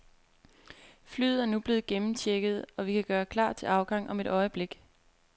Flyet er nu blevet gennemchecket, og vi kan gøre klar til afgang om et øjeblik.